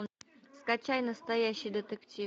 скачай настоящий детектив